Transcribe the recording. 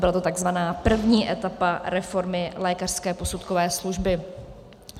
Byla to tzv. první etapa reformy lékařské posudkové služby.